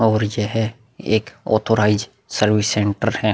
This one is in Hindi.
और यह है एक ऑथोरिसे सर्विस सेंटर है।